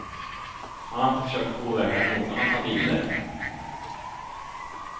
Han har inte försökt påverka någon att ta bilder.